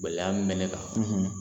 Gɛlɛya min bɛ ne kan